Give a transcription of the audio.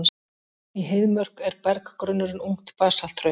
Í Heiðmörk er berggrunnurinn ungt basalthraun.